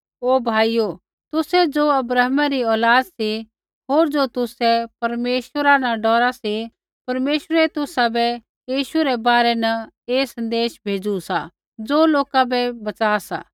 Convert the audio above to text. हे भाइयो तुसै ज़ो अब्राहमै री औलाद सी होर ज़ो तुसै परमेश्वरा न डौरा सी परमेश्वरै तुसाबै यीशु रै बारै न ऐ सन्देश भेज़ू सा ज़ो लोका बै बचा सा